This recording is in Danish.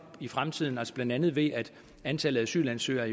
i fremtiden blandt andet ved at antallet af asylansøgere